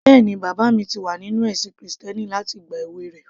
Bẹ́ẹ̀ni, bàbá mi ti wà nínú ẹ̀sìn krìstẹ́nì láti ìgbà èwe rẹ̀